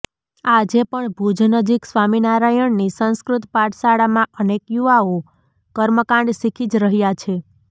આજે પણ ભુજ નજીક સ્વામિનારાયણની સંસ્કૃત પાઠશાળામાં અનેક યુવાઓ કર્મકાંડ શીખી જ રહ્યા છે